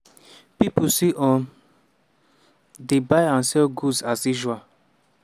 pipo still um dey buy and sell goods as usual.